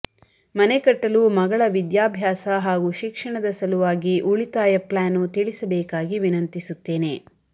ಮನೆ ಕಟ್ಟಲು ಮಗಳ ವಿದ್ಯಾಭ್ಯಾಸ ಹಾಗೂ ಶಿಕ್ಷಣದ ಸಲುವಾಗಿ ಉಳಿತಾಯ ಪ್ಲಾನು ತಿಳಿಸಬೇಕಾಗಿ ವಿನಂತಿಸುತ್ತೇನೆ